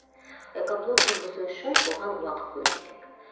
экоблог жүргізу үшін оған уақыт бөлу керек